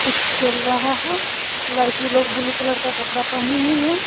कुछ खेल रहा है लड़की लोग ब्लू कलर का कपड़ा पहनी हुई है।